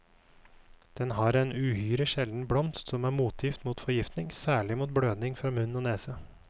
Den har en uhyre sjelden blomst som er motgift mot forgiftning, særlig mot blødning fra munn og nese.